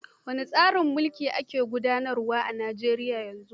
Wane tsarin mulki ake gudanarwa a Nijeriya yanzu?